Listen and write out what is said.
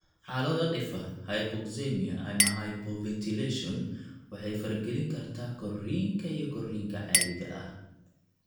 Xaalado dhif ah, hypoxemia ama hypoventilation waxay faragelin kartaa korriinka iyo korriinka caadiga ah.